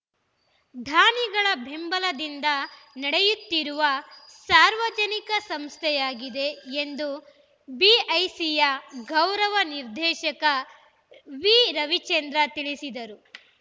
ದಾನಿಗಳ ಬೆಂಬಲದಿಂದ ನಡೆಯುತ್ತಿರುವ ಸಾರ್ವಜನಿಕ ಸಂಸ್ಥೆಯಾಗಿದೆ ಎಂದು ಬಿಐಸಿಯ ಗೌರವ ನಿರ್ದೇಶಕ ವಿ ರವಿಚಂದ್ರ ತಿಳಿಸಿದರು